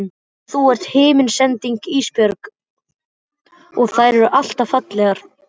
Og þú ert himnasending Ísbjörg og þær eru alltaf fallegar.